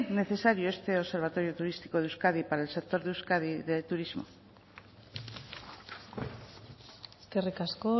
necesario este observatorio turístico de euskadi para el sector de euskadi del turismo eskerrik asko